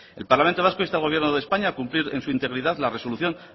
el parlamento vasco insta al gobierno de españa a cumplir en su integridad la resolución